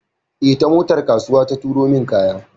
Eh, ta motar kasuwa ta turo min kaya.